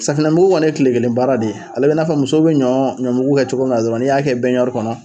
Safunɛmugu kɔni ye kile kelen baara de ye ale bɛ i n'a fɔ musow bɛ ɲɔ ɲɔmugu kɛ cogo min na n'i y'a kɛ kɔnɔ.